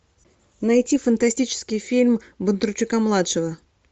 найти фантастический фильм бондарчука младшего